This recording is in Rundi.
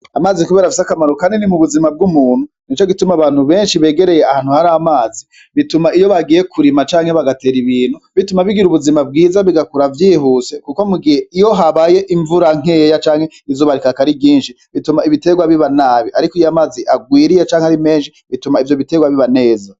Amazi kubera afise akamaro kanini mu buzima bw'umuntu nico gituma abantu benshi begereye ahantu hari amazi bituma iyo bagiye kurima canke bagatera ibintu bituma bigira ubuzima bwiza bigakura vyihuse kuko mugihe iyo habaye imvura nkeya canke izuba rikaka ari ryinshi bituma ibiterwa biba nabi ariko iyo amazi arwiriye canke ari mesnhi bituma bituma ivyo biterwa biba neza